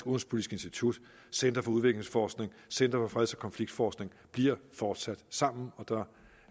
institut center for udviklingsforskning center for freds og konfliktforskning bliver fortsat sammen og der